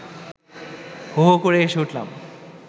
হো হো করে হেসে উঠলাম